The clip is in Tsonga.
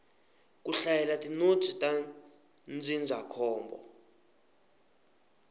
ku hlayela tinotsi ta ndzindzakhombo